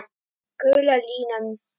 Gula línan.